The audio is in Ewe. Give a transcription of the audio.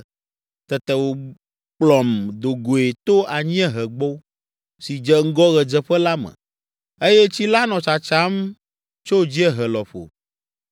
Tete wòkplɔm do goe to anyiehegbo si dze ŋgɔ ɣedzeƒe la me, eye tsi la nɔ tsatsam tso dziehe lɔƒo.